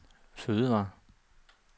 fødevarer